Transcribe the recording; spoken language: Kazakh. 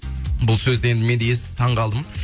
бұл сөзді енді мен де естіп таң қалдым